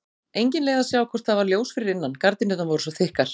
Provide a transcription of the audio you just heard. Engin leið að sjá hvort það var ljós fyrir innan, gardínurnar voru svo þykkar.